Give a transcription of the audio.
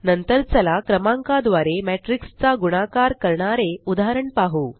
नंतर चला क्रमांका द्वारे मॅट्रिक्स चा गुणकार करणारे उदाहरण पाहु